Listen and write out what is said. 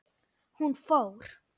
Hún fór.